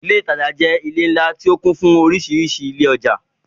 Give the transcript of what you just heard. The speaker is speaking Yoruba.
Ilé ìtajà jẹ́ ilé ńlá tó kún fún orísìírísìí ilé ọjà.